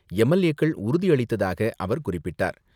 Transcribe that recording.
எம்.எல்.ஏக்கள் உறுதியளித்ததாக அவர் குறிப்பிட்டார்.